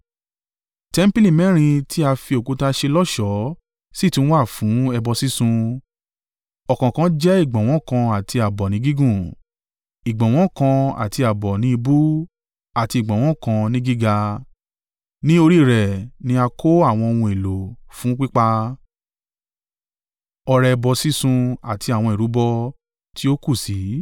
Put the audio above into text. Tẹmpili mẹ́rin tí à fi òkúta ṣe lọ́ṣọ̀ọ́ sì tún wà fún ẹbọ sísun, ọ̀kọ̀ọ̀kan jẹ́ ìgbọ̀nwọ́ kan àti ààbọ̀ ni gígùn, ìgbọ̀nwọ́ kan àti ààbọ̀ ní ìbú àti ìgbọ̀nwọ́ kan ni gíga. Ní orí rẹ̀ ni a kó àwọn ohun èlò fún pípa, ọrẹ ẹbọ sísun àti àwọn ìrúbọ tí ó kù sí.